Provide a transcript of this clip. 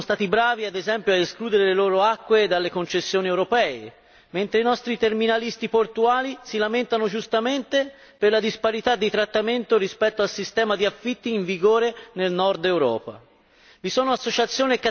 I nostri amici tedeschi sono stati bravi, ad esempio, a escludere le loro acque dalle concessioni europee, mentre i nostri terminalisti portuali si lamentano giustamente per la disparità di trattamento rispetto al sistema di affitti in vigore nel Nord Europa.